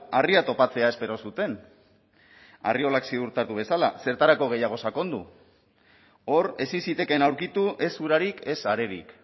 harria topatzea espero zuten arriolak ziurtatu bezala zertarako gehiago sakondu hor ezin zitekeen aurkitu ez urarik ez arerik